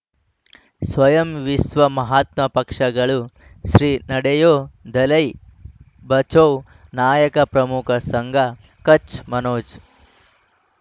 ಸ್ವಯಂ ವಿಶ್ವ ಮಹಾತ್ಮ ಪಕ್ಷಗಳು ಶ್ರೀ ನಡೆಯೂ ದಲೈ ಬಚೌ ನಾಯಕ ಪ್ರಮುಖ ಸಂಘ ಕಚ್ ಮನೋಜ್